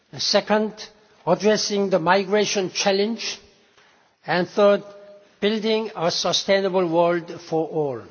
second, addressing the migration challenge and third, building a sustainable world for all.